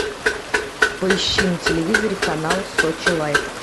поищи на телевизоре канал сочи лайф